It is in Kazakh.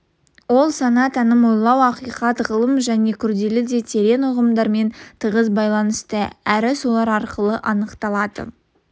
ол сана таным ойлау ақиқат ғылым және күрделі де терең ұғымдармен тығыз байланысты әрі солар арқылы анықталады